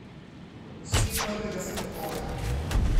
Gospe prvega spokoja.